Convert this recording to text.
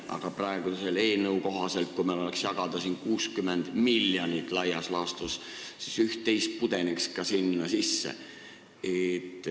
Selle praeguse eelnõu kohaselt, kui meil oleks jagada laias laastus 60 miljonit, pudeneks üht-teist ka sinna.